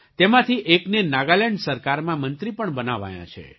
તેમાંથી એકને નાગાલેન્ડ સરકારમાં મંત્રી પણ બનાવાયાં છે